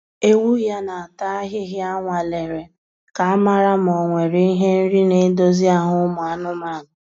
Ewu ya na-ata ahịhịa anwalere ka a mara ma o nwere ihe nri na edozi ahụ ụmụ anụmanụ